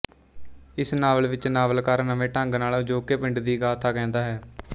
ਇਸ ਨਾਵਲ ਵਿੱਚ ਨਾਵਲਕਾਰ ਨਵੇਂ ਢੰਗ ਨਾਲ ਅਜੋਕੇ ਪਿੰਡ ਦੀ ਗਾਥਾ ਕਹਿੰਦਾ ਹੈ